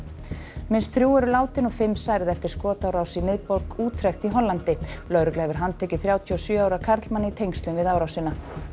minnst þrjú eru látin og fimm særð eftir skotárás í miðborg í Hollandi lögregla hefur handekið þrjátíu og sjö ára karlmann í tengslum við árásina